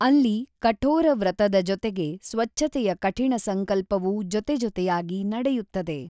ಅಲ್ಲಿ ಕಠೋರ ವ್ರತದ ಜೊತೆಗೆ ಸ್ವಚ್ಚತೆಯ ಕಠಿಣ ಸಂಕಲ್ಪವೂ ಜೊತೆಜೊತೆಯಾಗಿ ನಡೆಯುತ್ತದೆ.